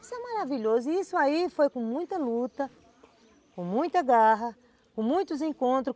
Isso é maravilhoso, e isso aí foi com muita luta, com muita garra, com muitos encontros.